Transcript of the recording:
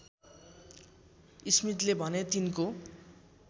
स्मिथले भने तिनको